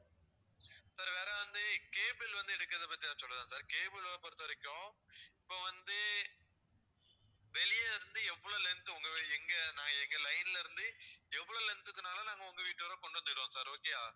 sir வேற வந்து cable வந்து எடுக்குறத பத்தி எதாவது சொல்லவா sir cable ல பொறுத்தவரைக்கும் இப்போ வந்து வெளியே இருந்து எவ்வளோ length உங்க எங்க நான் எங்க line ல இருந்து எவ்வளோ length க்குனாலும் நாங்க உங்க வீட்டு வரை கொண்டு வந்துடுறோம் sir okay யா